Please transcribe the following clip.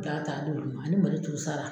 Ga ta ani malo turu sara.